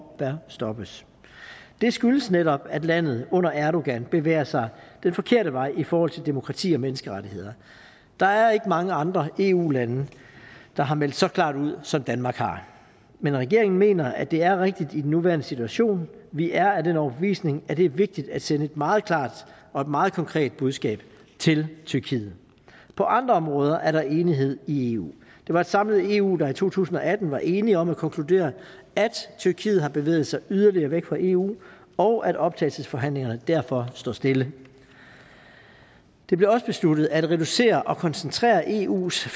og bør stoppes det skyldes netop at landet under erdogan bevæger sig den forkerte vej i forhold til demokrati og menneskerettigheder der er ikke mange andre eu lande der har meldt så klart ud som danmark har men regeringen mener at det er rigtigt i den nuværende situation vi er af den overbevisning at det er vigtigt at sende et meget klart og et meget konkret budskab til tyrkiet på andre områder er der enighed i eu det var et samlet eu der i to tusind og atten var enige om at konkludere at tyrkiet har bevæget sig yderligere væk fra eu og at optagelsesforhandlingerne derfor står stille det blev også besluttet at reducere og koncentrere eus